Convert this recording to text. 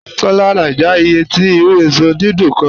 Kọ́lá ń náàjà ìyẹ̀ tì irù èṣọ́ dídùn kán